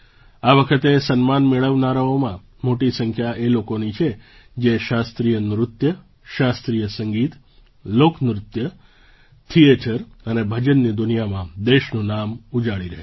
આ વખતે સન્માન મેળવનારાઓમાં મોટી સંખ્યા એ લોકોની છે જે શાસ્ત્રીય નૃત્ય શાસ્ત્રીય સંગીત લોક નૃત્ય થિયેટર અને ભજનની દુનિયામાં દેશનું નામ ઉજાળી રહ્યા છે